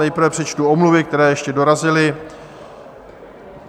Nejprve přečtu omluvy, které ještě dorazily.